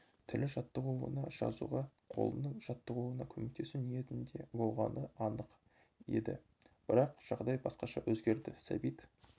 тілі жаттығуына жазуға қолының жаттығуына көмектесу ниетінде болғаны анық еді бірақ жағдай басқаша өзгерді сәбит